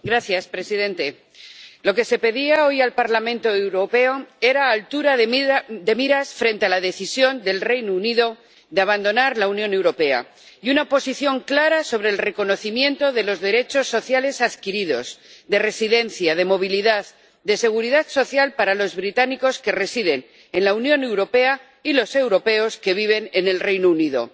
Señor presidente, lo que se pedía hoy al Parlamento Europeo era altura de miras frente a la decisión del Reino Unido de abandonar la Unión Europea y una posición clara sobre el reconocimiento de los derechos sociales adquiridos, de residencia, de movilidad, de seguridad social para los británicos que residen en la Unión Europea y los europeos que viven en el Reino Unido.